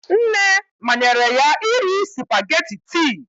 Nne manyere ya iri spugeetí ti